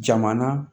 Jamana